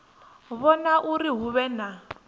vhona uri hu vhe na